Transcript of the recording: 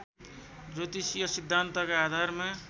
ज्योतिषीय सिद्धान्तका आधारमा